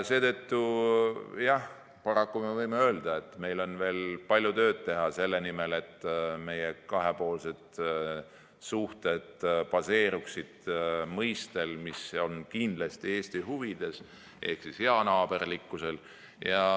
Seetõttu jah, paraku me võime öelda, et meil on veel palju tööd teha selle nimel, et meie kahepoolsed suhted baseeruksid mõistel, mis on kindlasti Eesti huvides – heanaaberlikkusel.